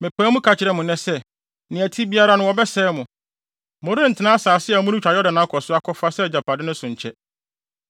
mepae mu ka kyerɛ mo nnɛ sɛ, nea ɛte biara no wɔbɛsɛe mo; morentena asase a moretwa Yordan akɔ so akɔfa sɛ agyapade no so nkyɛ.